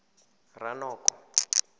ranoko